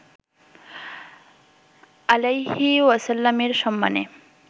আলাইহি ওয়াসাল্লামের সম্মানে